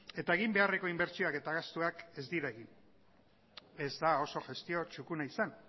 eta egin beharreko inbertsioak eta gastuak ez dira egin ez da oso gestio txukuna izan